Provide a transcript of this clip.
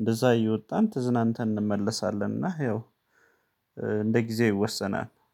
እንደዛ እየወጣን ተዝናንተን እንመለሳለን። እና ያው እንደ ጊዜ ይወሰናል